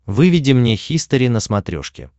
выведи мне хистори на смотрешке